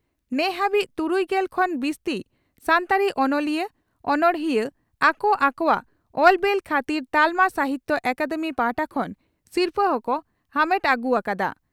ᱱᱮᱦᱟᱵᱤᱡ ᱛᱩᱨᱩᱭᱜᱮᱞ ᱠᱷᱚᱱ ᱵᱤᱥᱛᱤ ᱥᱟᱱᱛᱟᱲᱤ ᱚᱱᱚᱞᱤᱭᱟᱹ/ᱚᱱᱚᱬᱦᱤᱭᱟᱹ ᱟᱠᱚ ᱟᱠᱚᱣᱟᱜ ᱚᱞ ᱵᱮᱞ ᱠᱷᱟᱹᱛᱤᱨ ᱛᱟᱞᱢᱟ ᱥᱟᱦᱤᱛᱭᱚ ᱟᱠᱟᱫᱮᱢᱤ ᱯᱟᱦᱴᱟ ᱠᱷᱚᱱ ᱥᱤᱨᱯᱷᱟᱹ ᱦᱚᱸᱠᱚ ᱟᱢᱮᱴ ᱦᱩᱭ ᱟᱠᱟᱫᱼᱟ ᱾